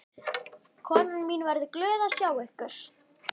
Konan mín verður glöð að sjá ykkur.